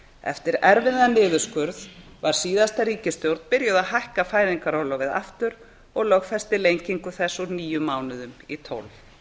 eftir erfiðan niðurskurð var síðasta ríkisstjórn byrjuð að hækka fæðingarorlofið aftur og lögfesti lengingu þess úr níu mánuðum í tólf